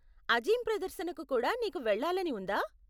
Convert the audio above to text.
అజీం ప్రదర్శనకు కూడా నీకు వెళ్ళాలని ఉందా?